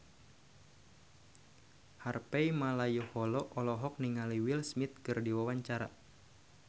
Harvey Malaiholo olohok ningali Will Smith keur diwawancara